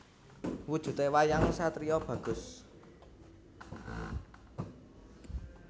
Wujudé wayang satriya bagus